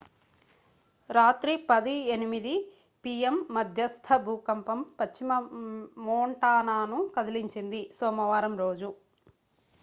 రాత్రి 10:08 పి.యం.మధ్యస్థ భూకంపం పశ్చిమ మోంటానాను కదిలించింది సోమవారం రోజు